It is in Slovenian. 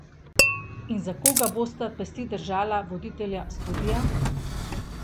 In za koga bosta pesti držala voditelja studia?